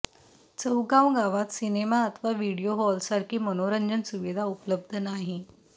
चौगाव गावात सिनेमा अथवा व्हीडियो हॉलसारखी मनोरंजन सुविधा उपलब्ध नाही